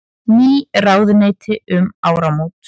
Ný ráðuneyti um áramót